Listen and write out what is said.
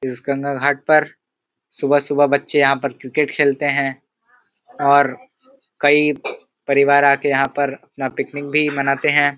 इस गंगा घाट पर सुबह सुबह बच्चे यहां पर क्रिकेट खेलते हैं और कई परिवार आ के यहाँ पर अपना पिकनिक भी मनाते है।